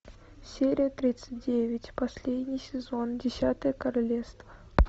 серия тридцать девять последний сезон десятое королевство